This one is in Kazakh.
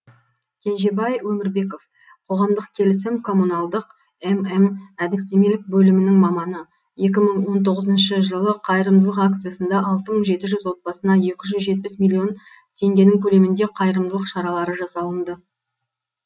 кенжебай өмірбеков қоғамдық келісім коммуналдық мм әдістемелік бөлімінің маманы екі мың он тоғызыншы жылы қайырымдылық акциясында алты мың жеті жүз отбасына екі жүз жетпіс миллион теңгенің көлемінде қайырымдылық шаралары жасалынды